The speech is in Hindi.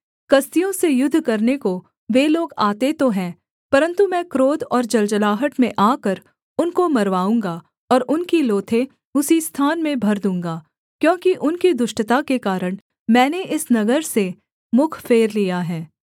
कसदियों से युद्ध करने को वे लोग आते तो हैं परन्तु मैं क्रोध और जलजलाहट में आकर उनको मरवाऊँगा और उनकी लोथें उसी स्थान में भर दूँगा क्योंकि उनकी दुष्टता के कारण मैंने इस नगर से मुख फेर लिया है